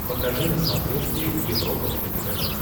покажи на смотрешке европа плюс тв